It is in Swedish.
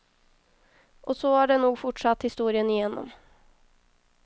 Och så har det nog fortsatt historien igenom.